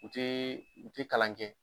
U tee u te kalan kɛ